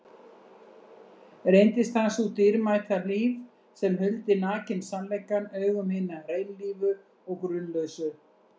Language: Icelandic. Reyndist hann sú dýrmæta hlíf sem huldi nakinn sannleikann augum hinna hreinlífu og grunlausu.